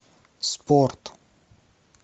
спорт